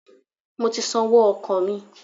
I have paid my transport fare